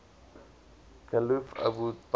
caliph abu bakr